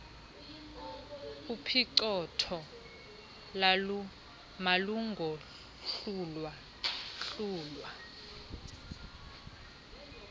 uphicothoo malungohlulwa hlulwa